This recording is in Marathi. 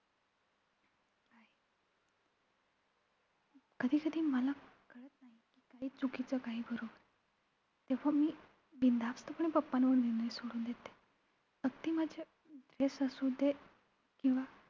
कधी-कधी मला कळत नाही, काही चुकीचं काही करू तेव्हा मी बिनधास्तपणे papa वर निर्णय सोडून देते. अगदी माझे guess असू दे, किंवा